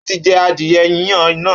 Ó ti jẹ adìye yíyan náà